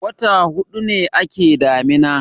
wata hudu ne a ke damina